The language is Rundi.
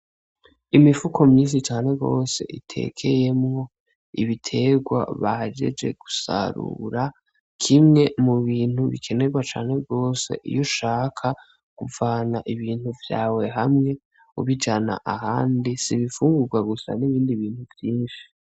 Imifuko myinshi cane gose itekeyemwo ibiterwa bahejeje gusarura, kimwe mubintu bikenerwa cane gose iyo ushaka kuvana ibintu vyawe hamwe ubijana ahandi si ibifungurwa gusa n'ibindi bintu vyinshi.